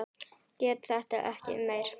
Get þetta ekki meir.